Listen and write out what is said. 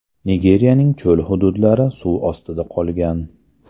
Nigerning cho‘l hududlari suv ostida qolgan.